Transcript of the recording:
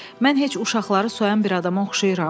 Mən heç uşaqları soyan bir adama oxşayıram?